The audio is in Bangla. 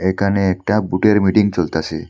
এখানে একটা ভুটের মিটিং চলতাসে।